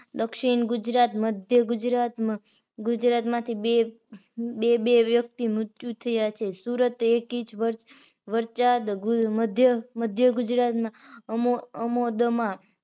દક્ષિણ ગુજરાત, મધ્ય ગુજરાત ગુજરાત માંથી બે બે વ્યક્તિ મૃત્યુ થયા છે સુરત એક ઇચ મધ્યગુજરાત અમોદમાં